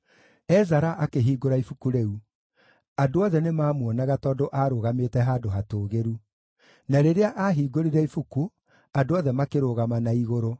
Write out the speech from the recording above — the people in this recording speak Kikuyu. Ezara akĩhingũra ibuku rĩu. Andũ othe nĩmamuonaga tondũ aarũgamĩte handũ hatũũgĩru. Na rĩrĩa aahingũrire ibuku, andũ othe makĩrũgama na igũrũ.